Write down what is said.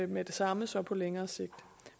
med det samme så på længere sigt